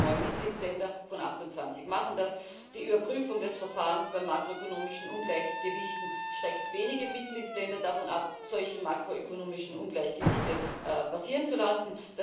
Wir haben es gehört Neun Mitgliedsländer von 28 machen das. Die Überprüfung des Verfahrens bei makroökonomischen Ungleichgewichten schreckt wenige Mitgliedsländer davon ab, solche makroökonomischen Ungleichgewichte passieren zu lassen.